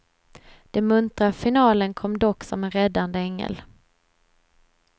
Den muntra finalen kom dock som en räddande ängel.